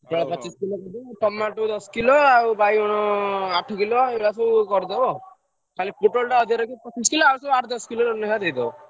Tomato ଦଶ kilo ଆଉ ବାଇଗଣ ଆଠ କିଲ ଏଗୁଡ଼ା ସବୁ କରିଦବ ଖାଲି ପୋଟଳ ଟା ଅଧିକ ରଖିବ ।